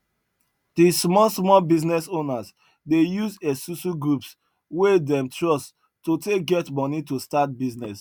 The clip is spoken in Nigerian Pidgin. the small small business owners dey use esusu groups wey dem trust to take get money to start business